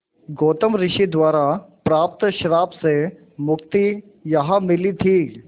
गौतम ऋषि द्वारा प्राप्त श्राप से मुक्ति यहाँ मिली थी